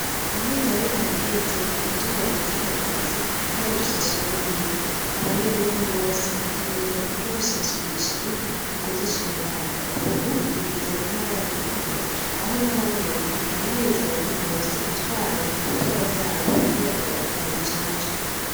Amezi ane araheze ku mutumba wa Gihogazi hari rusasuma y'inka, abenegihugu bose bategerezwa kuja gusasumisha inka mu kuzicandaga, ubu bigeze mu ntara ya rumonge aho nahonyene bahimiriza abantu bose gutwara ibitungwa vyabo kugira ngo babicance.